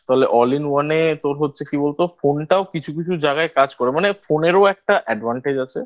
তাহলে All In One তোর হচ্ছে কি বলতো? Phone টাও কিছু কিছু জায়গায় কাজ করে মানে Phone এরও একটা Advantage আছে